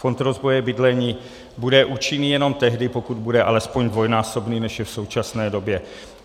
Fond rozvoje bydlení bude účinný jenom tehdy, pokud bude alespoň dvojnásobný, než je v současné době.